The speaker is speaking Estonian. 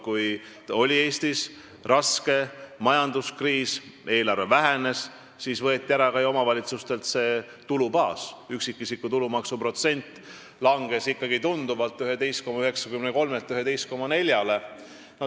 Kui Eestis oli raske majanduskriis ja eelarve vähenes, siis võeti ka omavalitsustelt tulubaasi ära: üksikisiku tulumaksu protsent langes tunduvalt – 11,93-lt 11,4-le.